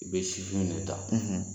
I be sifinw de ta